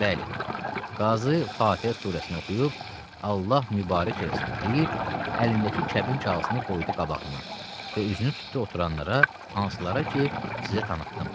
Bəli, Qazı Fatihə surəsini oxuyub Allah mübarək eləsin deyib, əlindəki kəbin kağızını qoydu qabağına və üzünü tutdu oturanlara hansılara ki, sizə tanıtdım.